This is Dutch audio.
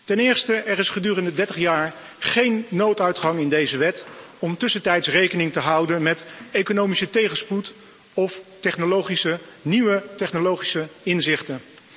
Ten eerste, er is gedurende 30 jaar geen nooduitgang in deze wet om tussentijds rekening te houden met economische tegenspoed of nieuwe technologische inzichten.